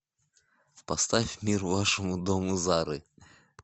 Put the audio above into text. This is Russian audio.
поставь мир вашему дому зары